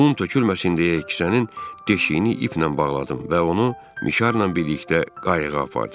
Un tökülməsin deyə kisənin deşiyini iplə bağladım və onu mişarla birlikdə qayıqa apardım.